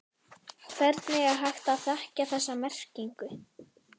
Hvernig er hægt að þekkja þessa merkingu?